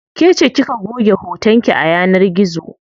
Kece kika goge hoton ki a yanar gizo.